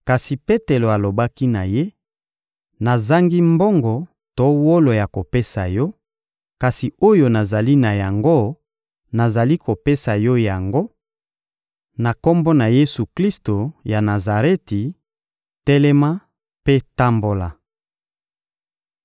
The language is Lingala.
Kasi Petelo alobaki na ye: — Nazangi mbongo to wolo ya kopesa yo, kasi oyo nazali na yango, nazali kopesa yo yango: na Kombo na Yesu-Klisto ya Nazareti, telema mpe tambola.